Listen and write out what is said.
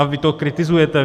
A vy to kritizujete.